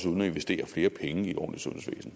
uden at investere flere penge i et ordentligt